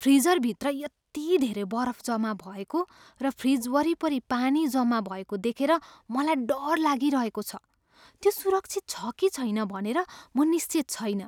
फ्रिजरभित्र यति धेरै बरफ जम्मा भएको र फ्रिज वरिपरि पानी जम्मा भएको देखेर मलाई डर लागिहेको छ, त्यो सुरक्षित छ कि छैन भनेर म निश्चित छैन।